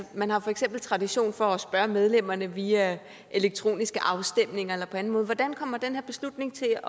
man har for eksempel tradition for at spørge medlemmerne via elektroniske afstemninger eller på anden måde hvordan kommer den her beslutning til